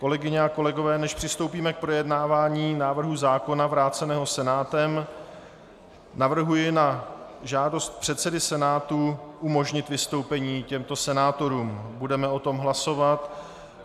Kolegyně a kolegové, než přistoupíme k projednávání návrhu zákona vráceného Senátem, navrhuji na žádost předsedy Senátu umožnit vystoupení těmto senátorům - budeme o tom hlasovat.